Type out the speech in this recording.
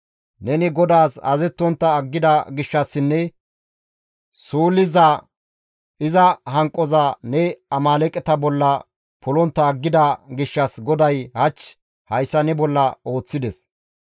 Neni GODAAS azazettontta aggida gishshassinne suulliza iza hanqoza ne Amaaleeqeta bolla polontta aggida gishshas GODAY hach hayssa ne bolla ooththides.